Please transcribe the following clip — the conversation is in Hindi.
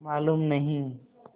मालूम नहीं